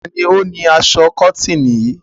Ta ni ó ni aṣọ kọ́tíìnì yìí?